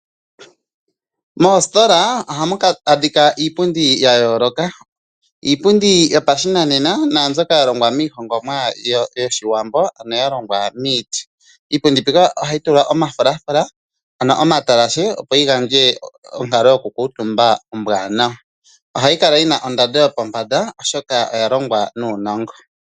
Moostola ohamu dhika iipundi ya yooloka. Ohamu adhika iipundi yopashinanena naa mbyoka yalongwa miigongomwa yoshiwambo, ano ya longwa miiti. Iipundi mbika ohayi tulwa omafulafula, ano omatalashe opo yi gandje onkalo yokukuutumba ombwanawa. Ohayi kala yina ondando yopombanda oshoka oya longwa nuunongo.